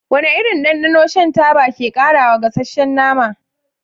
Wane irin dandano shan taba ke ƙarawa gasasshen nama?